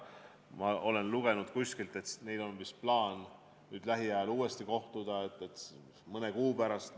Ma olen kuskilt lugenud, et neil on vist plaan uuesti kohtuda lähiajal, mõne kuu pärast.